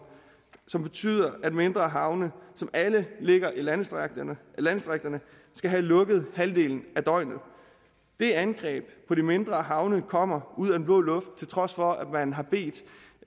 som betyder at mindre havne som alle ligger i landdistrikterne landdistrikterne skal have lukket halvdelen af døgnet det angreb på de mindre havne kommer ud af den blå luft til trods for at man har bedt